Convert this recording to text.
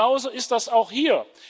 Und genau so ist das auch hier.